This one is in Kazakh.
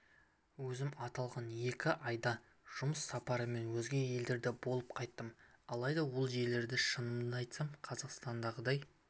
өзім аталған екі айда жұмыс сапарымен өзге елдерде болып қайттым алайда ол жерлерде шынымды айтсам қазақстандағыдай